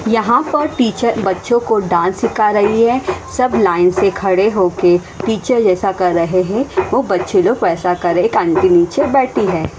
यहां पर टीचर बच्चों को डांस सिखा रही है। सब लाईन से खड़े होके टीचर जैसा कर रहे हैं वो बच्चे लोग वैसा कर रहे है। एक आंटी नीचे बैठी है।